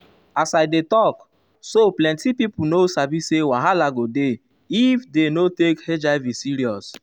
as i dey talk um so plenti pipo no sabi say wahala go dey if dey no take hiv um serious.